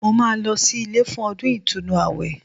Mo máa lọ sí ilé fún ọdún ìtúnu àwẹ̀